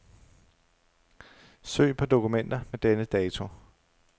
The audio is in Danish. Søg på dokumenter med denne dato.